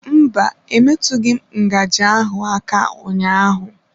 Mba, emetụghị m ngaji ahụ aka ụnyaahụ.